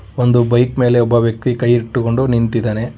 ಒಂದು ಬೈಕ್ ಮೇಲೆ ಒಬ್ಬ ವ್ಯಕ್ತಿ ಕೈ ಇಟ್ಟುಕೊಂಡು ನಿಂತಿದ್ದಾನೆ.